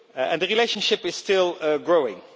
The relationship is still growing.